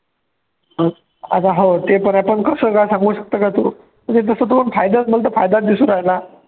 आता हाव ते पण आहे पण कसं काय सांगू शकतो का तू जसं तू फायदा मला तर फायदाच दिसू राहिला.